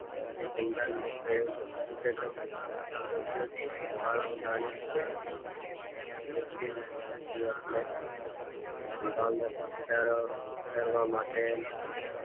અભિસંધાન ને પ્રયોગ ઉત્સેચક સબ્લમ માં બાળક સારી રીતે વ્યક્તિનું પ્રતિક્રિયાને સંભાવના ઉડાડવા માટ